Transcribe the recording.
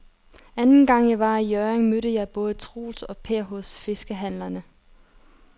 Anden gang jeg var i Hjørring, mødte jeg både Troels og Per hos fiskehandlerne.